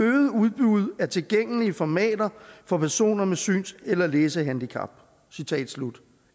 af tilgængelige formater for personer med syns eller læsehandicap citat slut